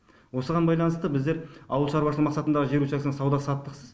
осыған байланысты біздер ауыл шаруашылығы мақсатындағы жер учаскелері сауда саттықсыз